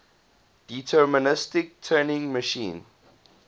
deterministic turing machine